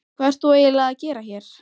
Hvað ert þú eiginlega að gera hér?